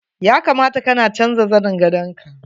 Ya kamata kana canja zanin gandaon ka.